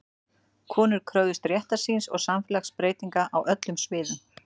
Konur kröfðust réttar síns og samfélagsbreytinga á öllum sviðum.